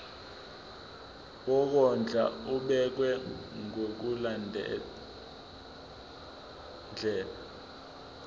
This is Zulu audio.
wokondla ubekwa ngokulandlela